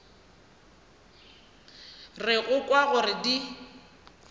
re go kwa gore di